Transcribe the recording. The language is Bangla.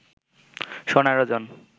সোনার ওজন